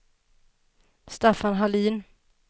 Staffan Hallin